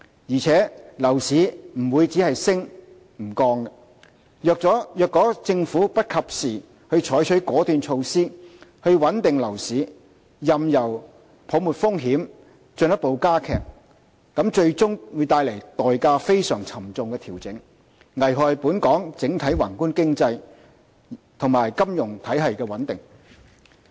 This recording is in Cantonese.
而且，樓市不會只升不降，如果政府不及時採取果斷措施穩定樓市，任由泡沫風險進一步加劇，則最終的調整會帶來非常沉重的代價，危害本港整體宏觀經濟及金融體系穩定。